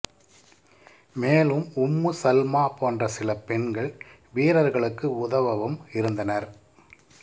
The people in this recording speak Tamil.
மேலும் உம்மு சல்மா போன்ற சில பெண்கள் வீரர்களுக்கு உதவவும் இருந்தனர்